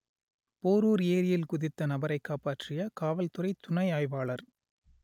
போரூர் ஏரியில் குதித்த நபரை காப்பாற்றிய காவல்துறை துணை ஆய்வாளர்